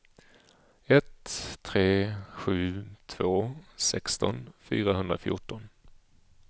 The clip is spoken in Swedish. ett tre sju två sexton fyrahundrafjorton